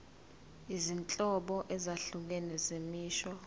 izinhlobo ezahlukene zemisho